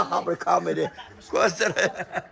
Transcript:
Bax, hamı kameri qoysun.